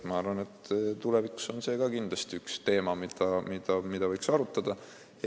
Ma arvan, et see on ka kindlasti üks teemasid, mida tulevikus võiks arutada.